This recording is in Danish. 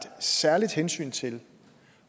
særligt hensyn til